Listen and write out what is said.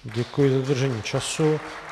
Děkuji za dodržení času.